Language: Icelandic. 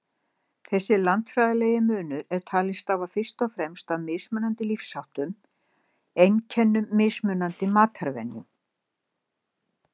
Þessi landfræðilegi munur er talinn stafa fyrst og fremst af mismunandi lífsháttum, einkum mismunandi matarvenjum.